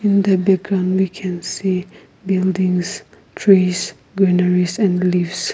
in the background we can see buildings trees greeneries and leaves.